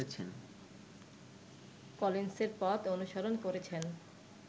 কলিন্সের পথ অনুসরণ করেছেন